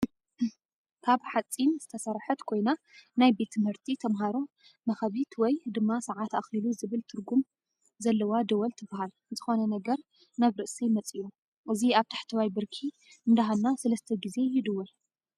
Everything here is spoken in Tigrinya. ካብ ሓፂን ዝተሰርሐት ኮይና ናይ ቤት ትምህርቲ ተማሃሮ መኸቢት ወይ ድማ ሰኣት ኣኪሉ ዝብል ትርጉም ዘለዋ ደወል ትበሃል። ዝኮነ ነገር ናብ ርእሰይ መፂኡ እዚ ኣብ ታሕተዋይ ብርኪ እንዳሀና 3ተ ግዜ ይድወል።